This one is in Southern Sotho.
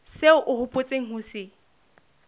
seo o hopotseng ho se